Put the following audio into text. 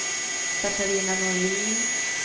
Catarina Norlin